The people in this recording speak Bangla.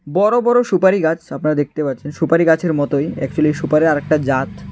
বড়ো বড়ো সুপারি গাছ আপনারা দেখতে পাচ্ছেন সুপারি গাছের মতোই একচুয়ালি সুপারির আরেকটা জাত।